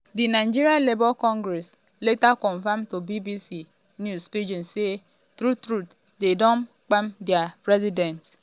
di nigeria labour congress um later confam to bbc news pidgin say true-true dem don gbab dia um president.